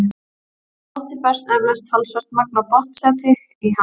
Við átið berst eflaust talsvert magn af botnseti í hann.